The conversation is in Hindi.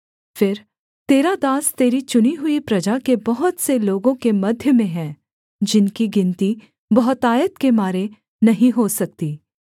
फिर तेरा दास तेरी चुनी हुई प्रजा के बहुत से लोगों के मध्य में है जिनकी गिनती बहुतायत के मारे नहीं हो सकती